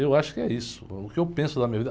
Eu acho que é isso, o que eu penso na minha vida.